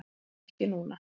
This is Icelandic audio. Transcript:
Farðu ekki núna!